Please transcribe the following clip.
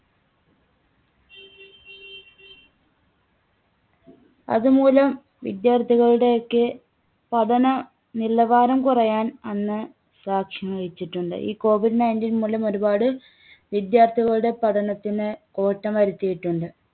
അതുമൂലം വിദ്യാർത്ഥികളുടെയൊക്കെ പഠന നിലവാരം കുറയാൻ അന്ന് സാക്ഷ്യം വഹിച്ചിട്ടുണ്ട്. ഈ കോവിഡ് nineteen മൂലം ഒരുപാട് വിദ്യാർത്ഥികളുടെ പഠനത്തിന് കോട്ടം വരുത്തിയിട്ടുണ്ട്.